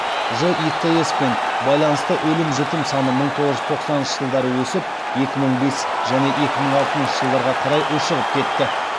житс пен байланысты өлім жітім саны мың тоғыз жүз тоқсаныншы жылдары өсіп екі мың бес және екі мың алтыншы жылдарға қарай ушығып кетті